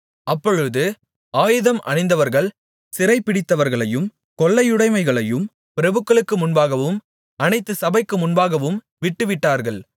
அப்பொழுது ஆயுதம் அணிந்தவர்கள் சிறைபிடித்தவர்களையும் கொள்ளையுடைமைகளையும் பிரபுக்களுக்கு முன்பாகவும் அனைத்து சபைக்கு முன்பாகவும் விட்டுவிட்டார்கள்